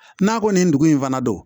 N'a ko nin dugu in fana don